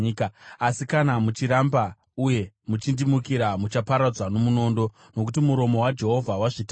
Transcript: asi kana muchiramba uye muchindimukira, muchaparadzwa nomunondo.” Nokuti muromo waJehovha wazvitaura.